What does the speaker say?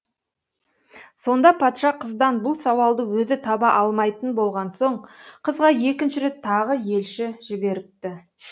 сонда патша қыздан бұл сауалды өзі таба алмайтын болған соң қызға екінші рет тағы елші жіберіпті